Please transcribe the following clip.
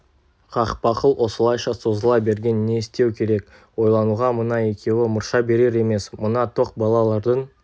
қақпақыл осылайша созыла берген не істеу керек ойлануға мына екеуі мұрша берер емес мына тоқ балалардың